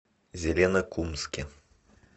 зеленокумске